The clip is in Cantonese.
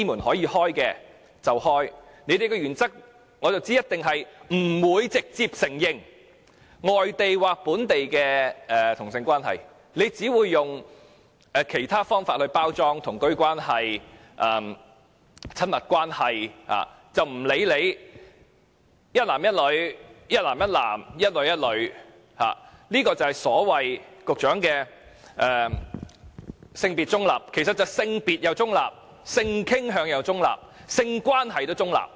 我知道你們的原則是一定不直接承認外地或本地的同性伴侶關係，只會用其他稱呼來包裝，如"同居關係"、"親密關係"，不理會當中是一男一女、一男一男、一女一女，這就是局長所謂的性別中立，而性傾向及性關係也是中立。